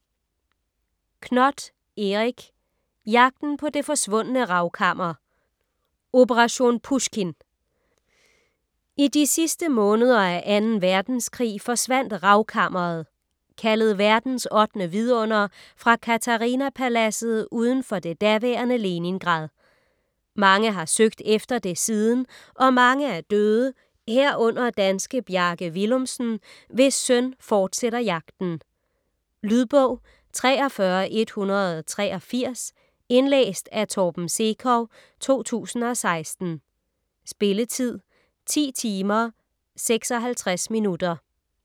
Knoth, Erik: Jagten på det forsvundne ravkammer: "Operation Pusjkin" I de sidste måneder af 2. verdenskrig forsvandt Ravkammeret - kaldet verdens 8. vidunder - fra Katharina Paladset udenfor det daværende Leningrad. Mange har søgt efter det siden - og mange er døde, herunder danske Bjarke Willumsen, hvis søn fortsætter jagten. Lydbog 43183 Indlæst af Torben Sekov, 2016. Spilletid: 10 timer, 56 minutter.